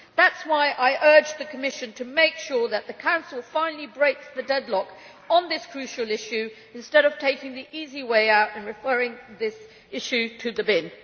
That is why I urge the Commission to make sure that the Council finally breaks the deadlock on this crucial issue instead of taking the easy way out and referring it to the bin.